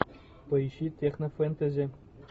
поищи технофентези